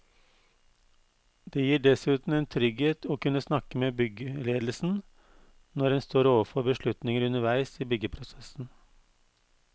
Det gir dessuten en trygghet å kunne snakke med byggeledelsen når en står overfor beslutninger underveis i byggeprosessen.